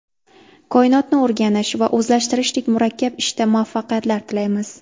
Koinotni o‘rganish va o‘zlashtirishdek murakkab ishda muvaffaqiyatlar tilaymiz.